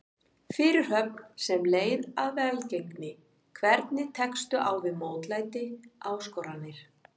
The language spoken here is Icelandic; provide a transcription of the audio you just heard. Fyrirhöfn sem leið að velgengni Hvernig tekstu á við mótlæti, áskoranir?